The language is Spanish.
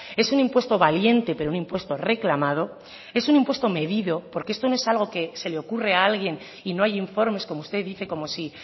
es un impuesto valiente pero un impuesto reclamado es un impuesto medido porque esto no es algo que se le ocurre a alguien y no hay informes como usted dice como si